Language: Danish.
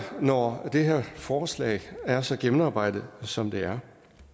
når det her forslag er så gennemarbejdet som det er